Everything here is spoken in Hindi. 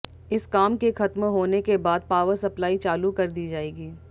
इस काम के खत्म होने के बाद पावर सप्लाई चालू कर दी जाएगी